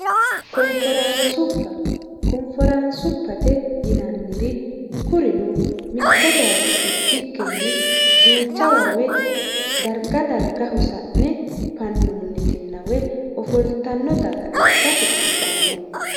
konforaansubba konforansubbate yinanniri kurino mitto baacho ikkikkinni duucha woy darga darga hosa'ne fannoonnitina woy ofoltanno daga ikkase anfanni